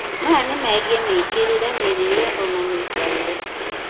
maya nĩ megiĩ mĩĩkĩrire, mĩrĩĩre ona mĩikarĩre